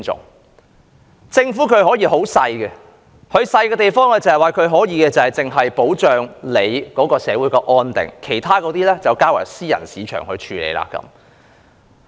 一個政府的規模可以很小，小得只負責保障社會安定，把其他事情都交由私人市場處理。